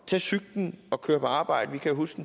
tage cyklen og køre på arbejde vi kan huske